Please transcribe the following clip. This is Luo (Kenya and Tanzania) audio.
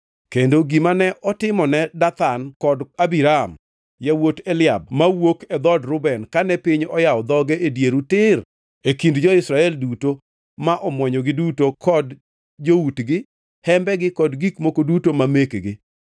Kendo gima ne otimone Dathan kod Abiram yawuot Eliab mawuok e dhood Reuben kane piny oyawo dhoge e dieru tir e kind jo-Israel duto ma omwonyogi duto kod joutgi, hembegi kod gik moko duto ma mekgi.